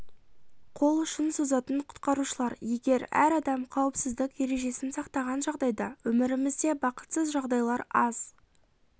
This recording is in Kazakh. қол ұшын созатын құтқарушылар егер әр адам қауіпсіздік ережесін сақтаған жағдайда өмірімізде бақытсыз жағдайлар аз